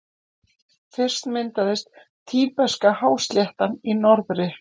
Fyrst myndaðist Tíbeska-hásléttan í norðri.